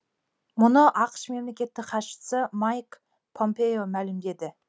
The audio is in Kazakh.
мұны ақш мемлекеттік хатшысы майк помпео мәлімдеді